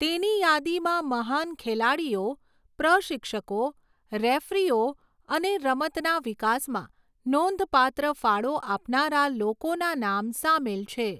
તેની યાદીમાં મહાન ખેલાડીઓ, પ્રશિક્ષકો, રેફરીઓ અને રમતના વિકાસમાં નોંધપાત્ર ફાળો આપનારા લોકોના નામ સામેલ છે.